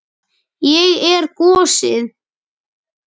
Ég er gosið.